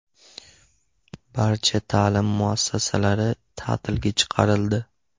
Barcha ta’lim muassasalari ta’tilga chiqarildi.